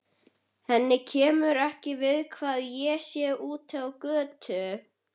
Henni kemur ekki við hvað ég sé úti á götu.